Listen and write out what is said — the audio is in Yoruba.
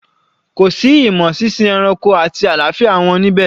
Kò sí imo sínsin ẹranko àti àlàáfíà wọn níbẹ̀?